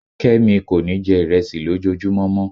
kemi kọ ní jẹ iresi lòjojúmo mọ